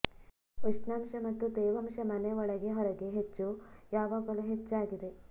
ಉಷ್ಣಾಂಶ ಮತ್ತು ತೇವಾಂಶ ಮನೆ ಒಳಗೆ ಹೊರಗೆ ಹೆಚ್ಚು ಯಾವಾಗಲೂ ಹೆಚ್ಚಾಗಿದೆ